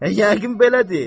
Yəqin belədir.